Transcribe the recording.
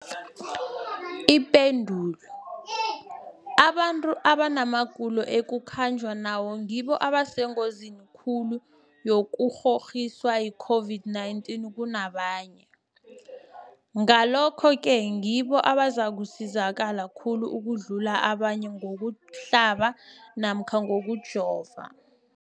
Ipendulo, abantu abanamagulo ekukhanjwa nawo ngibo abasengozini khulu yokukghokghiswa yi-COVID-19 kunabanye, Ngalokhu-ke ngibo abazakusizakala khulu ukudlula abanye ngokuhlaba namkha ngokujova.